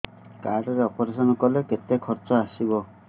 card ରେ operation କଲେ କେତେ ଖର୍ଚ ଆସିବ